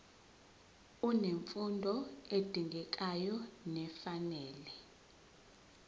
unemfundo edingekayo nefanele